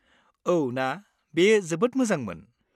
औ ना! बेयो जोबोद मोजांमोन।